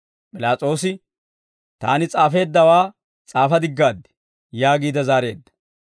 P'ilaas'oosi, «Taani s'aafeeddawaa s'aafa diggaad» yaagiide zaareedda.